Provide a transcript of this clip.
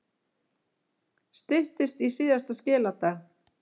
Styttist í síðasta skiladag